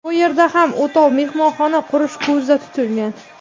Bu yerda ham o‘tov mehmonxona qurish ko‘zda tutilgan.